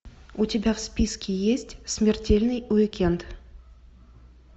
у тебя в списке есть смертельный уикенд